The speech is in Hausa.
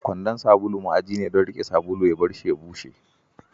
Kwandon sabulu ma'aji ne don riƙe sabulu, ya barshi a bushe.